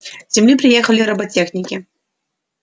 с земли приехали роботехники